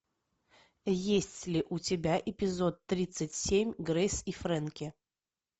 есть ли у тебя эпизод тридцать семь грейс и фрэнки